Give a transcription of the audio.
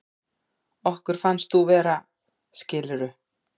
Okkur finnst þú vera, skilurðu.